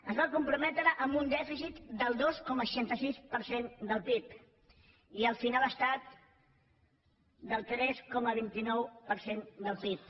es va comprometre amb un dèficit del dos coma seixanta sis per cent del pib i al final ha estat del tres coma vint nou per cent del pib